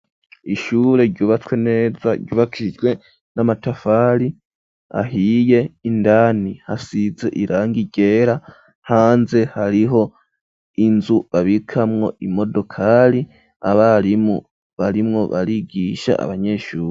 Ishure ryubatswe neza ryubakijwe n'amatafari ahiye, indani hasize irangi ryera, hanze hariho inzu babikamwo imodokari abarimu barimwo barigisha abanyeshuri.